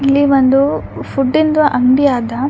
ಇಲ್ಲಿ ಒಂದು ಫೂಡಿಂದು ಅಂಗ್ಡಿ ಅದ --